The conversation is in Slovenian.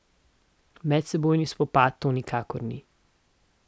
Medsebojni spopad to nikakor ni.